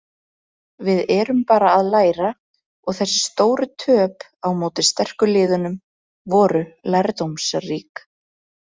Við erum bara að læra og þessi stóru töp á móti sterku liðunum voru lærdómsrík.